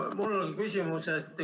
Mul on küsimus.